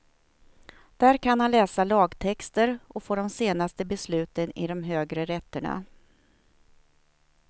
Där kan han läsa lagtexter och få de senaste besluten i de högre rätterna.